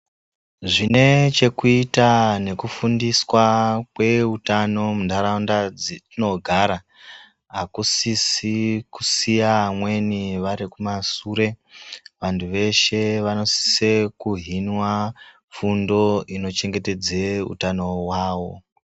Zvine chekuita neku fundiswa kwe utano mu ndaraunda dzetino gara akusisi kusiya amweni vari ku masure vantu veshe vanosise ku hinwa fundo ino chengetedze utano hwawo.